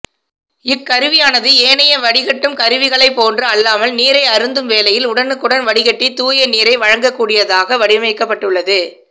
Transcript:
இக்கருவியானது ஏனைய வடிகட்டும் கருவிகளைப் போன்று அல்லாமல் நீரை அருந்தும் வேளையில் உடனுக்குடன் வடிகட்டி தூய நீரை வழங்கக்கூடியதாக வடிவமைக்கப்பட்டுள்ளது